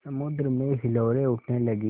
समुद्र में हिलोरें उठने लगीं